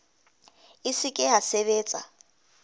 e se ke ya sebetsa